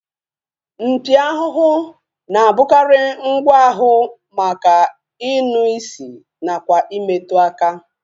Mpi ahụhụ na-abụkarị ngwa ahụ maka inụ isi nakwa imetụ aka